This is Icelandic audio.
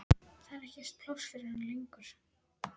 Það er ekkert pláss fyrir hann lengur.